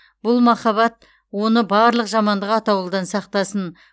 бұл махаббат оны барлық жамандық атаулыдан сақтасын